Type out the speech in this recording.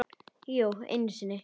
Jú, einu sinni.